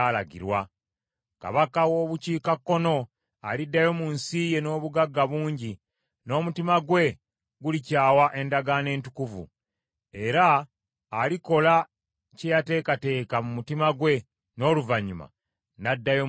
Kabaka w’obukiikakkono aliddayo mu nsi ye n’obugagga bungi, n’omutima gwe gulikyawa endagaano entukuvu. Era alikola kye yateekateeka mu mutima gwe n’oluvannyuma n’addayo mu nsi ye.